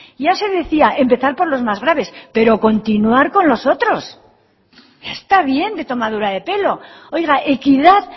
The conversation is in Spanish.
ya se decía empezar por los más graves pero continuar con los otros ya está bien de tomadura de pelo oiga equidad